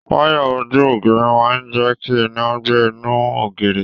Wayà ojú ògiri máa jẹ kí iná gbà inú ògiri.